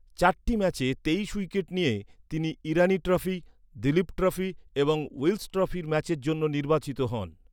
চারটি ম্যাচে তেইশ উইকেট নিয়ে তিনি ইরানি ট্রফি, দলীপ ট্রফি এবং উইলস ট্রফির ম্যাচের জন্য নির্বাচিত হন।